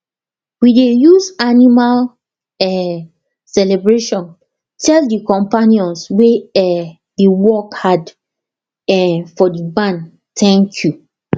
we dey use animal um celebration tell the companions wey um dey work hard um for the barn thank you